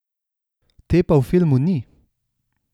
Te pa v filmu ni.